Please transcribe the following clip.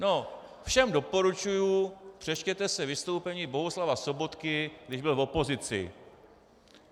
No, všem doporučuji, přečtěte si vystoupení Bohuslava Sobotky, když byl v opozici.